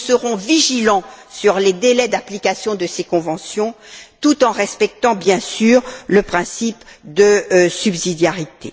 Nous serons vigilants sur les délais d'application de ces conventions, tout en respectant bien sûr le principe de subsidiarité.